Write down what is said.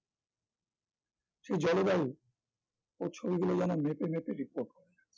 সে জলবায়ু ওর ছবিগুলো যেন মেপে মেপে report করে